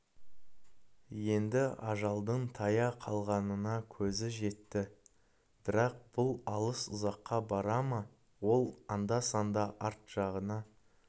енді ажалдың таяу қалғанына көзі жетті бірақ бұл алыс ұзаққа бара ма ол анда-санда арт жағына